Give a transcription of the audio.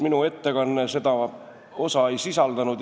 Minu ettekanne seda osa vist ei sisaldanud.